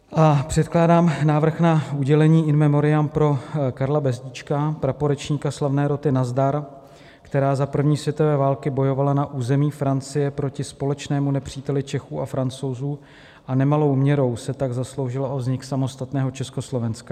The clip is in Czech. Předkládám návrh na udělení In memoriam pro Karla Bezdíčka, praporečníka slavné roty Nazdar, která za první světové války bojovala na území Francie proti společnému nepříteli Čechů a Francouzů a nemalou měrou se tak zasloužila o vznik samostatného Československa.